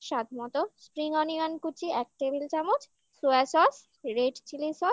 স্বাদমতো spring onion কুচি এক table চামচ soya sauce red chilli sauce